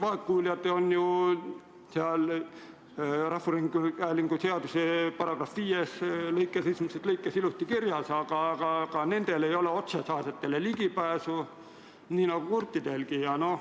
Vaegkuuljad on rahvusringhäälingu seaduse § 5 lõikes 1 ilusti kirjas, aga nendel ei ole otsesaadetele ligipääsu nii nagu kurtidelgi.